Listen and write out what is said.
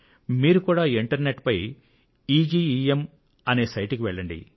మీరు కూడా internet పై ఈజీఇఎమ్ అనే సైటుకు వెళ్లండి